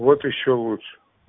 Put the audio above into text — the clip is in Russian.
вот ещё лучше